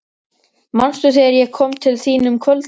Manstu, þegar ég kom til þín um kvöldið.